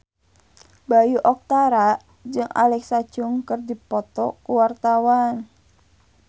Bayu Octara jeung Alexa Chung keur dipoto ku wartawan